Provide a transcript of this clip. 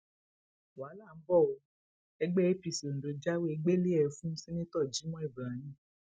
wàhálà ń bò ó ẹgbẹ apc ondo jáwèé gbélée fún seneto jimoh ibrahim